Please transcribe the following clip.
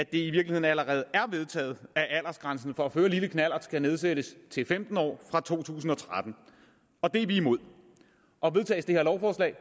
virkeligheden allerede er vedtaget at aldersgrænsen for at føre lille knallert skal nedsættes til femten år fra to tusind og tretten det er vi imod og vedtages det her lovforslag